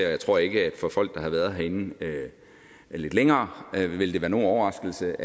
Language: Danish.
og jeg tror ikke at det for folk der har været herinde lidt længere vil være nogen overraskelse